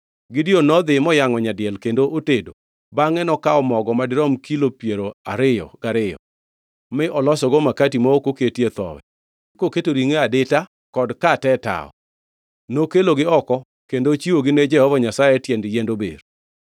Gideon nodhi, moyangʼo nyadiel kendo otedo, bangʼe nokawo mogo madirom kilo piero ariyo gariyo mi olosogo makati ma ok oketie thowi koketo ringʼo e adita kod kate e tawo, nokelogi oko kendo ochiwogi ne Jehova Nyasaye e tiend yiend ober.